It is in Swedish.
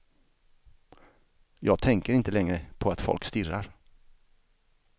Jag tänker inte längre på att folk stirrar.